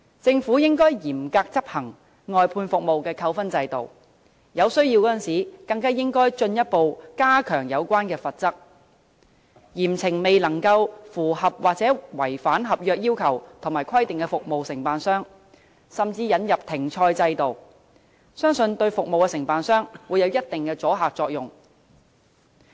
政府應該嚴格執行外判服務扣分制度，在有需要時更應進一步加強有關罰則，嚴懲未能符合或違反合約要求和規定的服務承辦商，甚至引入停賽制度，相信這對服務承辦商將有一定阻嚇作用。